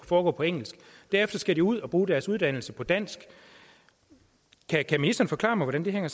foregå på engelsk derefter skal de ud og bruge deres uddannelse på dansk kan ministeren forklare mig hvordan det hænger